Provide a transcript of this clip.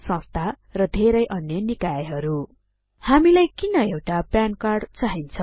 संस्था र धेरै अन्य निकायहरु हामीलाई किन एउटा पान कार्ड चाहिन्छ